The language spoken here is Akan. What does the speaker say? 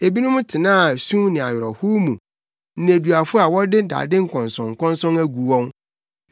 Ebinom tenaa sum ne awerɛhow mu, nneduafo a wɔde dade nkɔnsɔnkɔnsɔn agu wɔn,